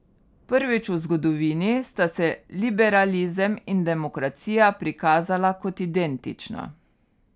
Prvič v zgodovini sta se liberalizem in demokracija prikazala kot identična.